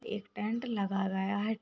एक टेंट लगा गया है --